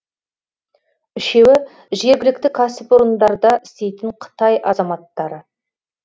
үшеуі жергілікті кәсіпорындарда істейтін қытай азаматтары